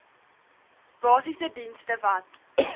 basiese dienste wat